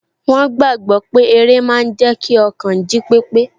Wọ́n gbàgbọ́ pé eré máa n jẹ́ kí ọkàn jí pépé